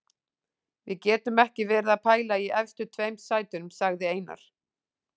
Við getum ekki verið að pæla í efstu tveim sætunum, sagði Einar.